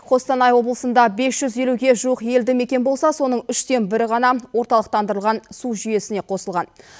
қостанай облысында бес жүз елуге жуық елді мекен болсы соның үштен бірі ғана орталықтандырылған су жүйесіне қосылған